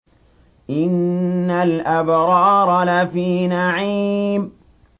إِنَّ الْأَبْرَارَ لَفِي نَعِيمٍ